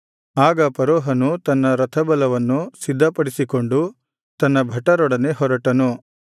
ಆಗ ಫರೋಹನು ತನ್ನ ರಥಬಲವನ್ನು ಸಿದ್ಧಪಡಿಸಿಕೊಂಡು ತನ್ನ ಭಟರೊಡನೆ ಹೊರಟನು